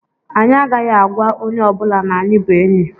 Anyị agaghị agwa onye ọbụla na anyị bụ enyị.